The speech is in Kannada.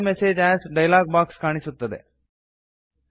save message as dialog box ಕಾಣಿಸುತ್ತದೆ